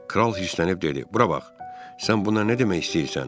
Kral hirslənib dedi: Bura bax, sən bununla nə demək istəyirsən?